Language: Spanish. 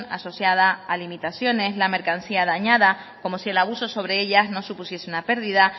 asociada a limitaciones la mercancía dañada como si el abuso sobre ellas no supusiese una pérdida